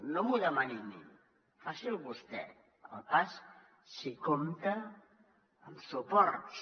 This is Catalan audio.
no m’ho demani a mi faci’l vostè el pas si compta amb suports